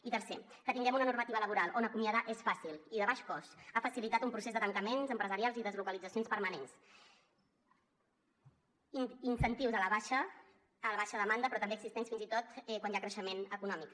i tercer que tinguem una normativa laboral on acomiadar és fàcil i de baix cost ha facilitat un procés de tancaments empresarials i deslocalitzacions permanents incentius a la baixa demanda però també existents fins i tot quan hi ha creixement econòmic